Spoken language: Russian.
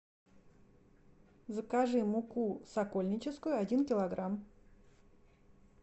закажи муку сокольническую один килограмм